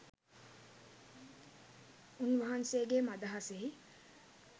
උන් වහන්සේගේ මදහසෙහි